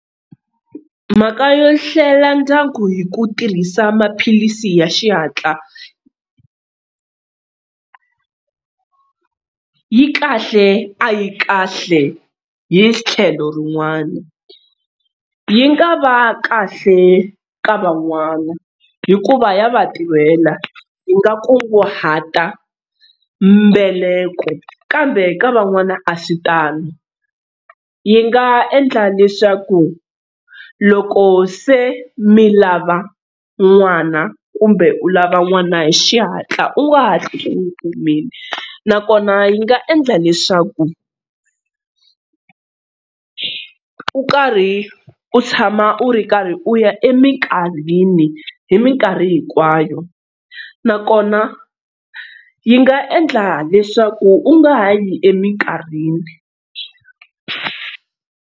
Mhaka yo hlela ndyangu hi ku tirhisa maphilisi ya xihatla yi kahle a yi kahle hi tlhelo rin'wana. Yi nga va kahle ka van'wana hikuva ya va tirhela yi nga kunguhata mbeleko kambe ka van'wana a swi tano, yi nga endla leswaku loko se mi lava n'wana kumbe u lava n'wana hi xihatla u nga hatli u n'wi kumile nakona yi nga endla leswaku u karhi u tshama u ri karhi u ya eminkarhini hi mikarhi hinkwayo nakona yi nga endla leswaku u nga ha yi eminkarhini.